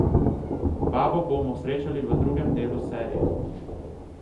Babo bomo srečali v drugem delu serije.